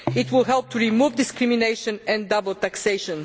It will help to remove discrimination and double taxation.